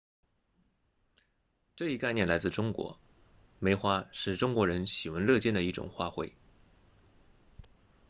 这一概念来自中国梅花是中国人喜闻乐见的一种花卉